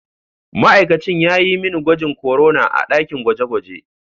Ma'aikacin ya yi mani gwajin korona a dakin gwaje-gwaje.